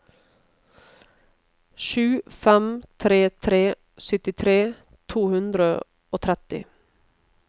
sju fem tre tre syttitre to hundre og tretti